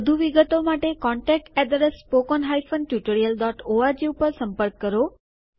વધુ વિગતો માટે contactspoken tutorialorg ઉપર સંપર્ક કરો